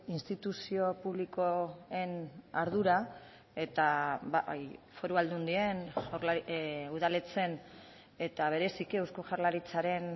instituzio publikoen ardura eta foru aldundien udaletxeen eta bereziki eusko jaurlaritzaren